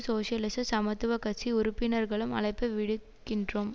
சோசியலிச சமத்துவ கட்சி உறுப்பினர்களும் அழைப்பு விடுகின்றோம்